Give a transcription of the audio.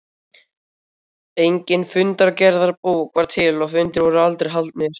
Engin fundargerðarbók var til og fundir voru aldrei haldnir.